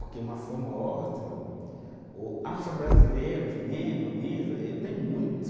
Porque uma forma ou outro, o afro-brasileiro, negro mesmo, ele tem muito.